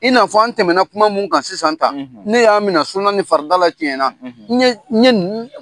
I n'a fɔ an tɛmɛna kuma mun kan sisan tan; Ne y'a minɛ sunan ni fardala tiɲɛna; N ŋe n ŋe nuu